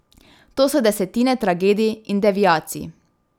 To so desetine tragedij in deviacij.